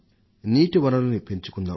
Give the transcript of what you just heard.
నీటి వనరుల్ని పెంచుకుందాం